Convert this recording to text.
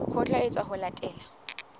ho tla etswa ho latela